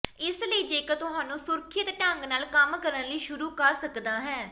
ਇਸ ਲਈ ਜੇਕਰ ਤੁਹਾਨੂੰ ਸੁਰੱਖਿਅਤ ਢੰਗ ਨਾਲ ਕੰਮ ਕਰਨ ਲਈ ਸ਼ੁਰੂ ਕਰ ਸਕਦਾ ਹੈ